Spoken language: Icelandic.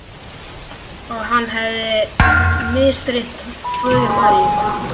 Að hann hefði misþyrmt föður Maríu.